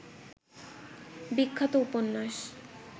বিখ্যাত উপন্যাস